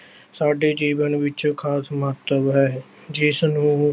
ਸਾਡੇ ਜੀਵਨ ਵਿੱਚ ਖਾਸ ਮਹੱਤਵ ਹੈ ਜਿਸਨੂੰ